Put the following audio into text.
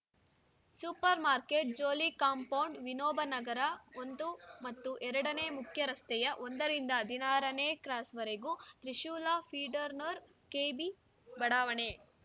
super market Jolli compound Vinobanagar ಒಂದು ಮತ್ತು ಎರಡನೇ ಮುಖ್ಯರಸ್ತೆಯ ಒಂದರಿಂದ ಹದಿನಾರನೇ ಕ್ರಾಸ್‌ವರೆಗೆ ತ್ರಿಶೂಲ್‌ ಫೀಡರ್‌ನರ್ ಕೆಬಿ ಬಡಾವಣೆ